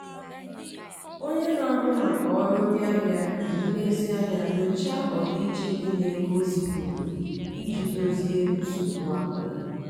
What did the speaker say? onye na-ahụ maka ọrụ ndị ahịa ji nlezianya nyochaa ọdịiche dị n'ego o zipụrụ iji dozie nsogbu ahụ.